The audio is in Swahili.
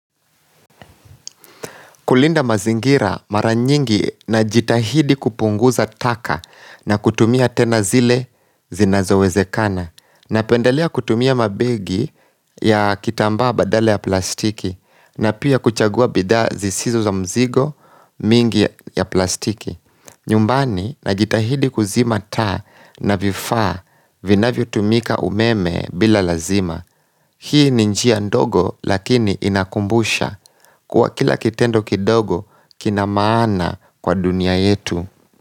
Kulinda mazingira mara nyingi najitahidi kupunguza taka na kutumia tena zile zinazowezekana. Napendelea kutumia mabegi ya kitambaa badala ya plastiki na pia kuchagua bidhaa zisizo za mzigo mingi ya plastiki. Nyumbani najitahidi kuzima taa na vifaa vinavyotumika umeme bila lazima. Hii ni njia ndogo lakini inakumbusha kuwa kila kitendo kidogo kina maana kwa dunia yetu.